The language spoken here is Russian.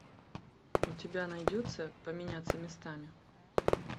у тебя найдется поменяться местами